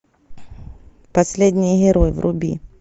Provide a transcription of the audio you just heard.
последний герой вруби